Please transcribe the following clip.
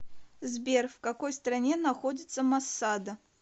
сбер в какой стране находится масада